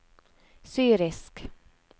syrisk